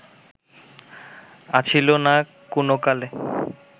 আছিল না কুনোকালে